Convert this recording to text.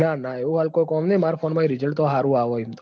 ના ના એવું હાલ કોઈ કોમ નહિ માર phoneresult હારું આવ ઈમ તો